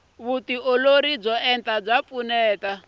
vuolori byo enta bya pfuneta